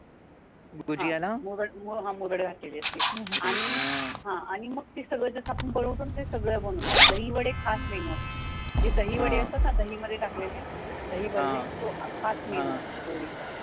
हा, मुरड घातलेली असते आणि मग ते सगळं जसं आपण बनवतो ना, ते सगळं बनवतात, दहीवडॆ खास menu असतो. जे दही वडॆ असतात ना, दही मध्ये टाकलेले, दही वडॆ खास menu असतो होळीचा.